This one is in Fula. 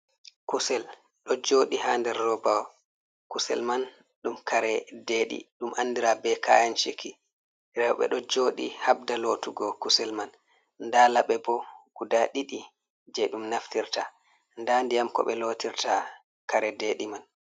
Kusel ɗo joɗi ha nder roba, kusel man ɗum kare deɗi ɗum andira be kayenchiki, rewɓe ɗo joɗi habda lotugo kusel man, nda laɓe bo guda ɗiɗi je ɗum naftirta nda ndiyam ko ɓe lotirta kare deɗi man.